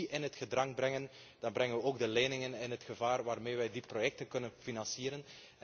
Als we die in het gedrang brengen, dan brengen we ook de leningen in gevaar waarmee wij die projecten kunnen financieren.